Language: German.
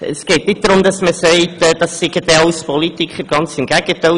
Es geht nicht darum, dass am Gericht lauter Politiker tätig sind, ganz im Gegenteil.